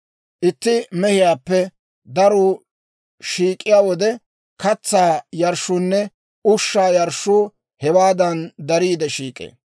Itti mehiyaappe daruu shiik'iyaa wode, katsaa yarshshuunne ushshaa yarshshuu hewaadan dariide shiik'ee.